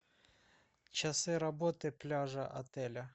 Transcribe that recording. часы работы пляжа отеля